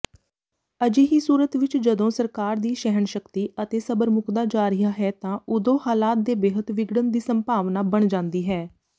ਅਜਿਹੀ ਸੂਰਤਵਿਚਜਦੋਂ ਸਰਕਾਰਦੀਸਹਿਣਸ਼ਕਤੀਅਤੇ ਸਬਰਮੁਕਦਾ ਜਾ ਰਿਹਾ ਹੈ ਤਾਂ ਉਦੋਂ ਹਾਲਾਤ ਦੇ ਬੇਹੱਦ ਵਿਗੜਨਦੀਸੰਭਾਵਨਾਬਣਜਾਂਦੀ ਹੈ